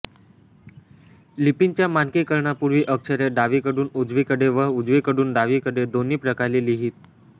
लिपींच्या मानकीकरणापूर्वी अक्षरे डावीकडून उजवीकडे व उजवीकडून डावीकडे दोन्ही प्रकारे लिहित